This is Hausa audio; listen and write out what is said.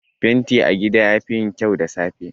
Fenti a gida yafi yin kyau da safe.